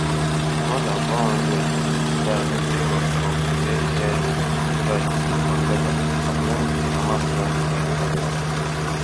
more dan four hundred um die sake of of israeli air um strikes on gaza according to di hamasrun health ministry